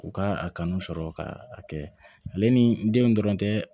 U ka a kanu sɔrɔ ka a kɛ ale ni denw dɔrɔn tɛ